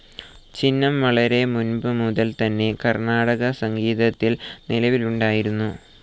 ചിഹ്നം വളരെ മുൻപ് മുതൽ തന്നെ കർണാടകസംഗീതത്തിൽ നിലവിലുണ്ടായിരുന്നു.